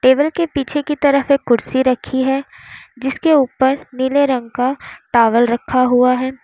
Table के पीछे की तरफ एक कुर्सी रखी है जिसके ऊपर नीले रंग का टॉवल रखा हुआ है।